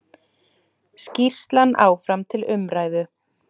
Skýrslan áfram til umræðu